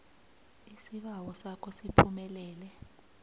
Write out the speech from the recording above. isibawo sakho siphumelele